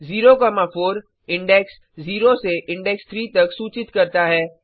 0 4 index 0 से index 3 तक सूचित करता है